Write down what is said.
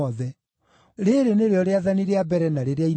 Rĩĩrĩ nĩrĩo rĩathani rĩa mbere na rĩrĩa inene.